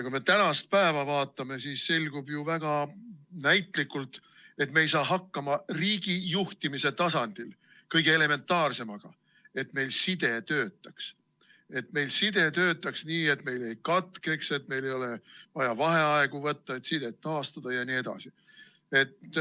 Kui me tänast päeva vaatame, siis selgub ju väga näitlikult, et me ei saa riigijuhtimise tasandil hakkama kõige elementaarsemaga, sellega, et meil side töötaks, töötaks nii, et ta meil ei katkeks, et meil ei oleks vaja vaheaegu võtta, et sidet taastada jne.